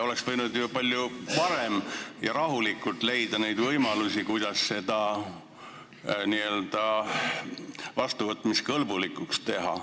Oleks võinud ju palju varem asja arutada ja rahulikult otsida võimalusi, kuidas eelnõu vastuvõtmiskõlblikuks teha.